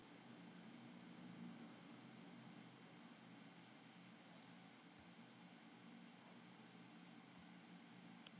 Þá tókst liðinu ekki að komast áfram í riðlakeppni Evrópu, hvorki í Meistaradeildina né Evrópudeildina.